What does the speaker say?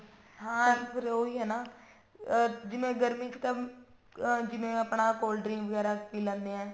ਹਾਂ ਫੇਰ ਉਹੀ ਹੈ ਨਾ ਅਮ ਜਿਵੇਂ ਗਰਮੀ ਚ ਤਾਂ am ਜਿਵੇਂ ਆਪਣਾ cold drink ਵਗੈਰਾ ਪੀ ਲੈਂਦੇ ਹਾਂ